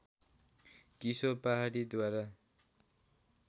किशोर पहाडीद्वारा